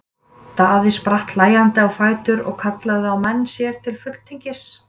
Daði spratt hlæjandi á fætur og kallaði á menn sér til fulltingis.